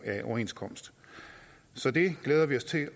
af en overenskomst så det glæder vi os til